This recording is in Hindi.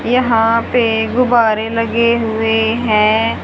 यहां पे गुब्बारे लगे हुए हैं।